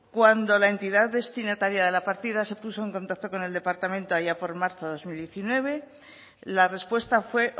cuando la entidad destinataria de la partida se puso en contacto con el departamento allá por marzo dos mil diecinueve la respuesta fue